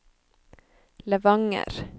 Levanger